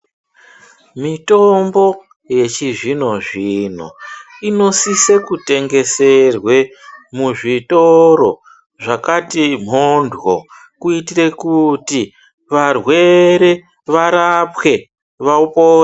Mitombo yechizvino-zvino, inosise kutengeserwe muzvitoro, zvakati mhondyo, kuitire kuti varwere varapwe, vapone.